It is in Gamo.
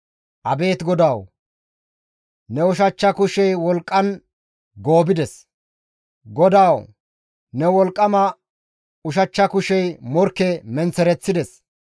«Abeet GODAWU! Ne ushachcha kushey wolqqan goobides; GODAWU ne wolqqama ushachcha kushey morkke menththereththides.